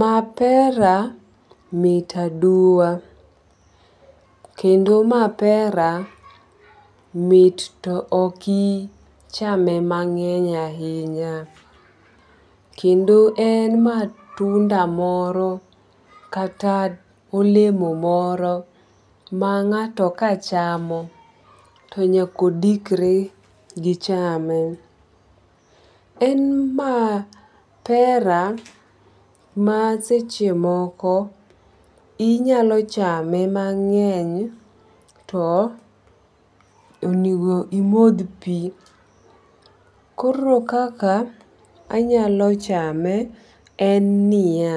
Mapera mit aduwa, kend mapera mit to ok ichame ma ng'eny ahinya. Kendo en matunda kata olemo moro maka ng'ato chamo to nyaka odikre gi chame. En mapera maseche moko inyalo chame mang'eny to onego imodh pi. Koro kaka anyalo chame en niya,